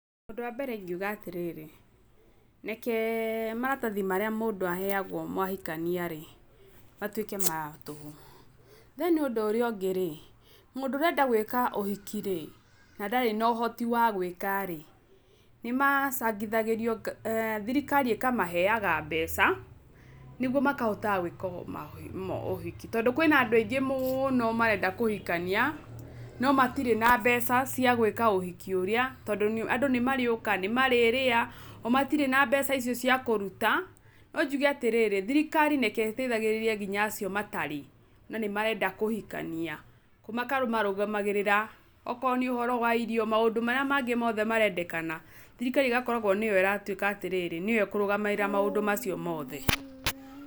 Ũndũ wa mbere ingiuga atĩrĩrĩ, reke maratathi marĩa mũndũ aheago mwahikania-rĩ matũike ma tũhũ. Then ũndũ ũrĩa ũngĩ rĩ mũndũ ũrenda gwĩka ũhiki-rĩ na ndarĩ na ũhoti wa gwĩka-rĩ nĩmacangithagĩrio, thirikari ĩkamaheaga mbeca nĩguo makahota gwĩka ũhiki. Tondũ kwĩna andũ aingĩ mũũno marenda kũhikania no matirĩ na mbeca cia gwĩka ũhiki ũrĩa, tondũ andũ nĩ marĩũka, nĩmarĩrĩa omatire na mbeca icio cĩa kũruta. No njũge atĩrĩrĩ, thirikari reke ĩteithagĩrĩrie ngĩnya acio matarĩ na nĩ marenda kũhikania. Makamarũgamagĩrĩra okoro nĩ ũhoro wa irio, maũndũ marĩa mangĩ mothe marĩendekana, thirikari ĩgakoragwo nio ĩratuika atĩrĩrĩ, nĩo ĩkũrũgamĩrĩra maũndũ macio mothe.